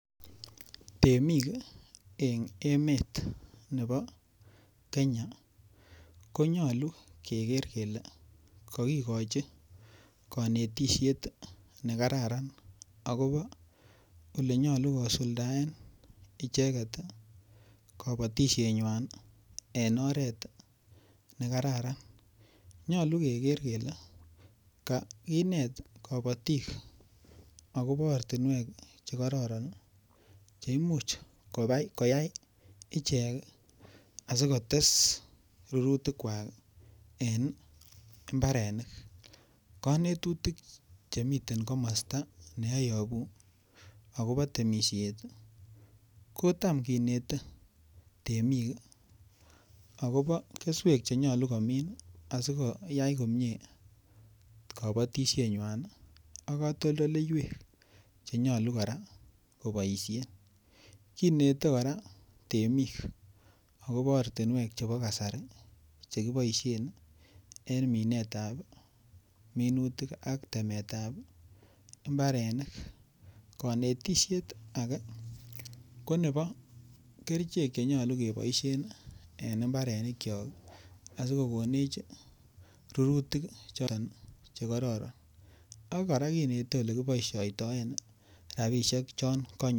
Temik en emet nebo Kenya konyolu keger kele kokigochi konetishet ne kararan agobo ole nyolu kosuldaen icheget kobotishenywan en oret nekararan. Nyolu keger kele kaginet kobotik agobo ortinwek che kororon che imuch koyai ichek asikotes rurutik kwak en imbarenik. Konetutik chemiten komosta ne oyobu agobo temisiet kotam kinete temik agobo keswek che nyolu komin asikoyai komie kobotishenywan ak katoltoleiyek che nyolu kora koboisien. Kinete kora temik agobo ortinwek chebo kasari che kiboisien en minet ab minutikk ak temet ab mbarenik. Konetishet age ko nebo kerichek che nyolu keboisien en mbarenikyok asikokonech rurutik che kororon ak kora kinete ole kiboisioitoen rabishek che kanyor.